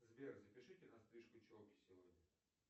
сбер запишите на стрижку челки сегодня